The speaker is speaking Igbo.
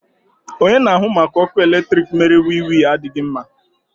Onye na-ahụ maka ọkụ eletrik mere wiwi adịghị mma.